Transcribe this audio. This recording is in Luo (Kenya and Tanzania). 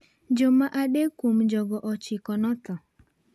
Joma adek kuom jogo 9 notho.